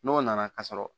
N'o nana ka sɔrɔ